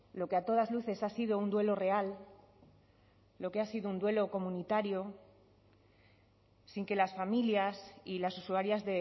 lo que a todas luces ha sido un duelo real lo que ha sido un duelo comunitario sin que las familias y las usuarias